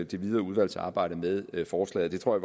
det videre udvalgsarbejde med forslaget jeg tror